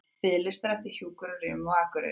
Biðlistar eftir hjúkrunarrýmum á Akureyri